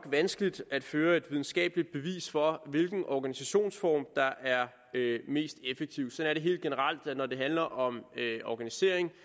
vanskeligt at føre et videnskabeligt bevis for hvilken organisationsform der er mest effektiv sådan er det helt generelt når det handler om organisering